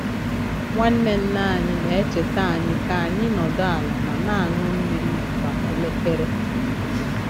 Nwanne nne anyị na-echeta anyị ka anyị nọdụ ala ma na-aṅụ mmiri kwa elekere.